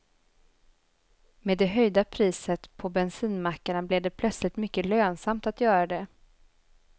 Med det höjda priset på bensinmackarna blev det plötsligt mycket lönsamt att göra det.